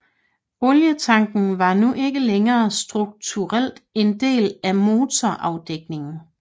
Olietanken var nu ikke længere struktuelt en del af af motorafdækningen